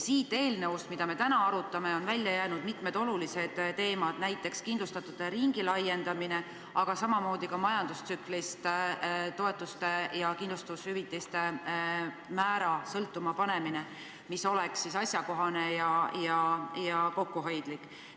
Sellest eelnõust, mida me täna arutame, on välja jäänud mitmed olulised teemad, näiteks kindlustatute ringi laiendamine, samamoodi aga ka majandustsüklist toetuste ja kindlustushüvitiste määra sõltuma panemine, mis oleks asjakohane ja kokkuhoidlik.